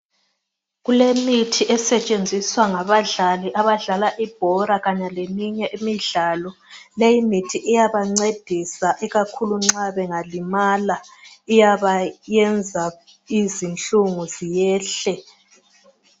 kulemithi esetshenziswa ngabadlali abadlala ibhora kanye leminye imidlalo leyi mithi iyabancedisa ikakhulu nxa bengalimala iyabayenza izinhlungu ziyehle